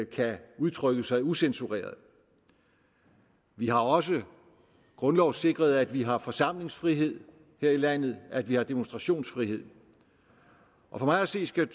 kan udtrykke sig ucensureret vi har også grundlovssikret at vi har forsamlingsfrihed her i landet at vi har demonstrationsfrihed og for mig at se skal